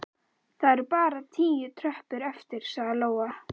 Það eru bara tíu tröppur eftir, sagði Lóa.